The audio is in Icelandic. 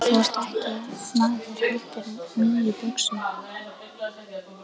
Þú ert ekki maður heldur mý í buxum.